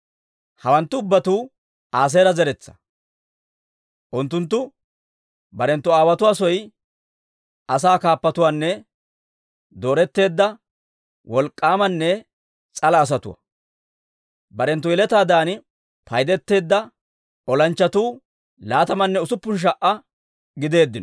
Hawanttu ubbatuu Aaseera zeretsaa. Unttunttu barenttu aawotuwaa soy asaa kaappatuwaanne dooretteedda wolk'k'aamanne s'ala asatuwaa. Barenttu yeletaadan paydeteedda olanchchatuu laatamanne usuppun sha"aa gideeddino.